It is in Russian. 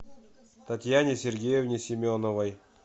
татьяне сергеевне семеновой